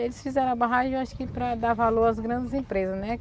Eles fizeram a barragem acho que para dar valor às grandes empresas, né?